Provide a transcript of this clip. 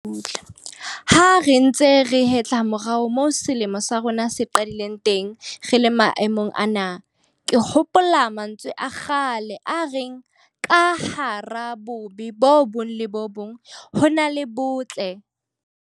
Ha re hetla morao moo selemo sa rona se qadileng teng re le maemong ana, ke hopola mantswe a kgale a reng 'ka hara bobe bo bong le bo bong ho na le botle'.